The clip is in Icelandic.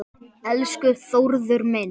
Elsku Þórður minn.